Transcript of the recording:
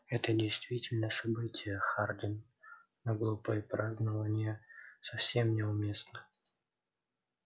это действительно событие хардин но глупые празднования совсем не уместны